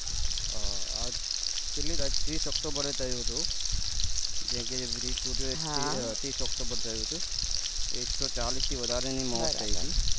અ કેટલી ત્રીસ october એ થયું હતું જે કે છે bridge તૂટ્યું એ ત્રીસ october એ થયું હતું એક તો ચાલીશ થી વધારે ની મોત થય હતી